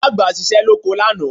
Ìyá àgbà ṣiṣẹ́ lóko lánàá